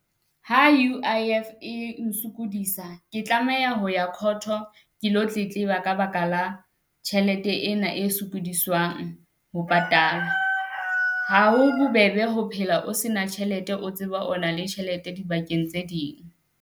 Ha U_I_F e nsokodisa, ke tlameha ho ya court-o ke lo tletleba ka ba ka la tjhelete ena e sokodiswang ho patala. Ha ho bobebe ho phela o se na tjhelete, o tseba o na le tjhelete dibakeng tse ding.